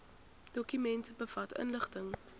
dokument bevat inligting